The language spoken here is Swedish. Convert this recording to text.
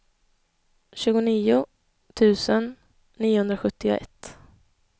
tjugonio tusen niohundrasjuttioett